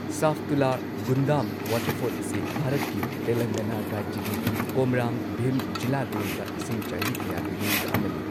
Saptula Gundam waterfall ꯑꯁꯤ ꯚꯥꯔꯠꯀꯤ ꯇꯦꯂꯪꯒꯥꯅꯥ ꯔꯥꯖ꯭ꯌꯒꯤ ꯀꯣꯃꯔꯥꯝ ꯚꯤꯝ ꯖꯤꯂꯥꯗ ꯂꯩꯕ ꯏꯁꯤꯡꯆꯥꯏꯕꯤ ꯀꯌꯥꯒꯤ ꯃꯅꯨꯡꯗ ꯑꯃꯅꯤ꯫